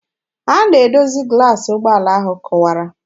Ha na-edozi glaasị ụgbọala ahụ kụwara.